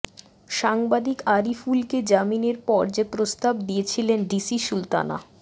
সাংবাদিক আরিফুলকে জামিনের পর যে প্রস্তাব দিয়েছিলেন ডিসি সুলতানা